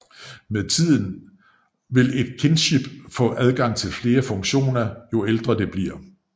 Med tiden vil et kinship få adgang til flere funktioner jo ældre det bliver